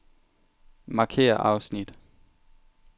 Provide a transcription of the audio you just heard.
Markér afsnit.